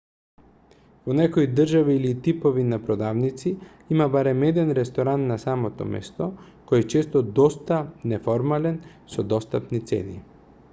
во некои држави или типови на продавници има барем еден ресторан на самото место кој е често доста неформален со достапни цени